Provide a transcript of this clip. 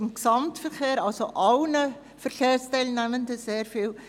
Dies bringt allen Verkehrsteilnehmenden sehr viel.